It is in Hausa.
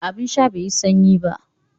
Abin sha bai yi sanyi ba